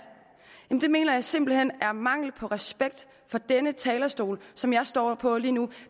mener jeg simpelt hen det er mangel på respekt for denne talerstol som jeg står på lige nu